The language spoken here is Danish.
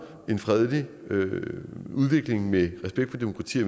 en fredelig udvikling med respekt for demokrati